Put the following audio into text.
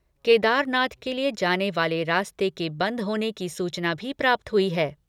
केदारनाथ के लिए जाने वाले रास्ते के बंद होने की सूचना भी प्राप्त हुई है।